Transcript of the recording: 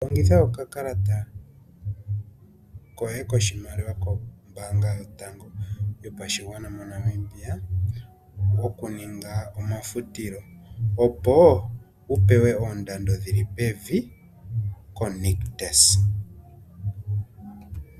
Longitha okakalata koye koshimaliwa kombaanga yotango yopashigwana moNamibia okuninga omafutilo, opo wu pewe oondando dhi li pevi koNictus.